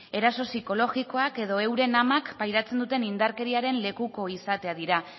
eraso psikologikoak edo euren amak pairatzen duten indarkeriaren lekuko izatea dira